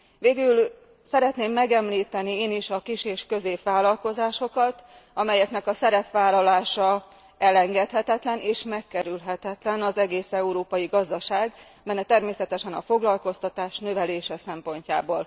Végül, szeretném megemlíteni én is a kis és középvállalkozásokat, amelyeknek a szerepvállalása elengedhetetlen és megkerülhetetlen az egész európai gazdaság melyben természetesen a foglalkoztatás növelése szempontjából.